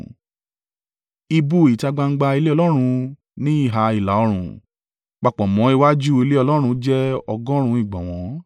Ibú ìta gbangba ilé Ọlọ́run ní ìhà ìlà-oòrùn, papọ̀ mọ́ iwájú ilé Ọlọ́run jẹ́ ọgọ́rùn-ún ìgbọ̀nwọ́.